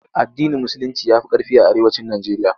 AddinIn Musulinci ya fi ƙarfi a Arewacin Nijeriya.